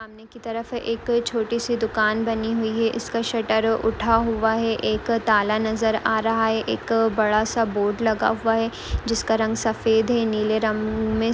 सामने की तरफ एक छोटी सी दुकान बनी हुई है इसका शटर उठा हुआ है एक ताला नजर आ रहा है एक बड़ा सा बोर्ड लगा हुआ है जिसका रंग सफेद है। नील रंग में--